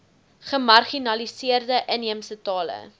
gemarginaliseerde inheemse tale